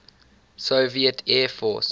soviet air force